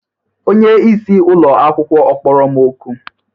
Onyeisi ụlọ akwụkwọ ọ kpọrọ m oku?